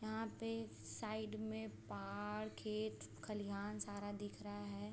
यहाँ पे साइड में पहाड़ खेत खलिहान सारा दिख रहा है।